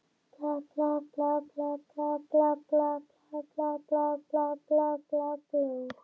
Þorvaldi bróður sínum, frá því að hún var tíu til sautján ára.